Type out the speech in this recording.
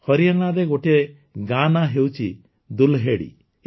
ହରିୟାଣାରେ ଗୋଟିଏ ଗାଁ ନାଁ ହେଉଛି ଦୁଲ୍ହେଡୀ